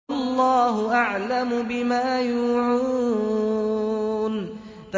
وَاللَّهُ أَعْلَمُ بِمَا يُوعُونَ